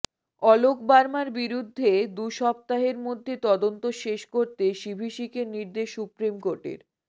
অলোক বার্মার বিরুদ্ধে দুসপ্তাহের মধ্যে তদন্ত শেষ করতে সিভিসিকে নির্দেশ সুপ্ৰিমকোর্টের